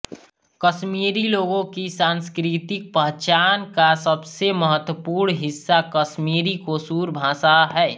कश्मीरी लोगों की सांस्कृतिक पहचान का सबसे महत्वपूर्ण हिस्सा कश्मीरी कोशूर भाषा है